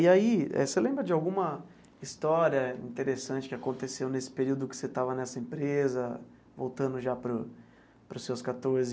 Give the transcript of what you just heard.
E aí, você lembra de alguma história interessante que aconteceu nesse período que você estava nessa empresa, voltando já para o para os seus quatorze?